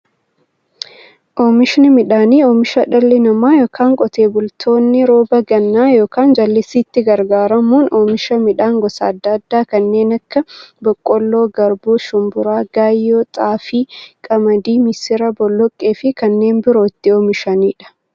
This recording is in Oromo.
Oomishni midhaanii, oomisha dhalli namaa yookiin Qotee bultoonni roba gannaa yookiin jallisiitti gargaaramuun oomisha midhaan gosa adda addaa kanneen akka; boqqoolloo, garbuu, shumburaa, gaayyoo, xaafii, qamadii, misira, boloqqeefi kanneen biroo itti oomishamiidha.